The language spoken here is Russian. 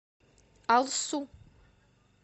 алсу